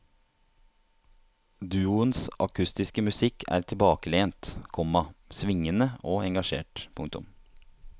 Duoens akustiske musikk er tilbakelent, komma svingende og engasjert. punktum